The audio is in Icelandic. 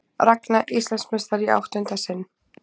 Ragna Íslandsmeistari í áttunda sinn